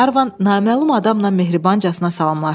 Qlervan naməlum adamla mehribancasına salamlaşdı.